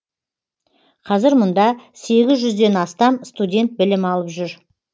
қазір мұнда сегіз жүзден астам студент білім алып жүр